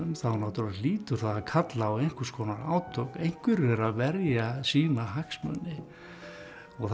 þá náttúrulega hlýtur það að kalla á einhvers konar átök einhverjir eru að verja sína hagsmuni og það er